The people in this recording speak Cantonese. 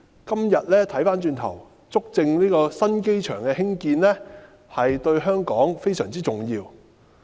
今天回望過去，足證新機場的興建對香港非常重要。